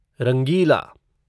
रंगीला